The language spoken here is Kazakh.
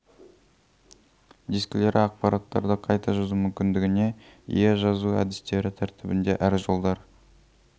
дискілері ақпараттарды қайта жазу мүмкіндігіне ие жазу әдістері тәртібінде әр жолдар